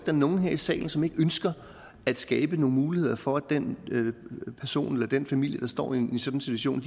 er nogen her i salen som ikke ønsker at skabe nogle muligheder for at den person eller den familie der står i en sådan situation